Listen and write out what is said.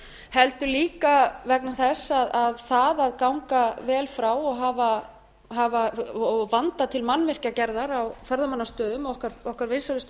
heldur líka vegna þess að það að ganga vel frá og vanda til mannvirkjagerðar á ferðamannastöðum okkar vinsælustu